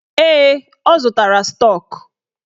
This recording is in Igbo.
Ee, ọ zụtara stọk.